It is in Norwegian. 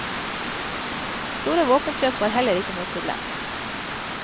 Store våpenkjøp var heller ikke noe problem.